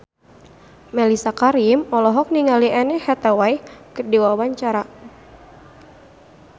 Mellisa Karim olohok ningali Anne Hathaway keur diwawancara